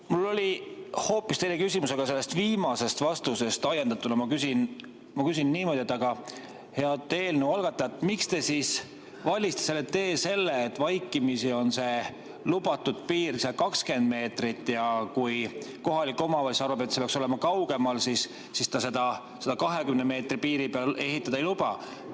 Mul oli hoopis teine küsimus, aga viimasest vastusest ajendatuna ma küsin niimoodi: head eelnõu algatajad, miks te siis valisite selle tee, et vaikimisi on see lubatud piir 20 meetrit ja kui kohalik omavalitsus arvab, et see peaks olema kaugemal, siis ta sinna 20 meetri piiri peale ehitada ei luba?